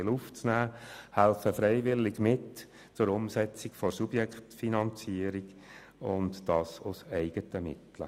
sie helfen freiwillig mit, die Umsetzung der Subjektfinanzierung mit dem eigenen Budget zu tragen.